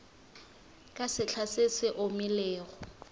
ka sehla se se omilego